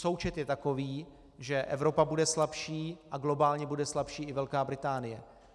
Součet je takový, že Evropa bude slabší a globálně bude slabší i Velká Británie.